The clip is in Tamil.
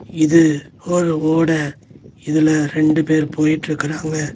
இது ஒரு ஓட இதுல ரெண்டு பேர் போயிட்ருக்கறாங்க.